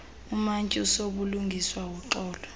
umantyi usobulungisa woxolo